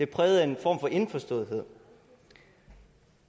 præget af en form for indforståethed